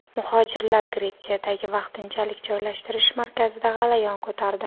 Muhojirlar Gretsiyadagi vaqtinchalik joylashtirish markazida g‘alayon ko‘tardi.